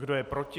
Kdo je proti?